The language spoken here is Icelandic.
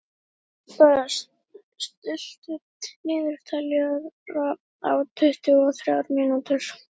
Bebba, stilltu niðurteljara á tuttugu og þrjár mínútur.